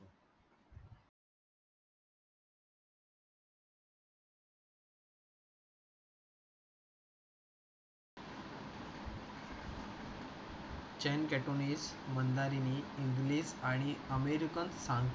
चान केटोनील, मंडारीन, इंग्रजी आणि अमेरिकन सांकेतिक भाषा बोलतो आणि काही जर्मन, कोरियन, जपानी, स्पॅनिश आणि थाई देखील बोलतो.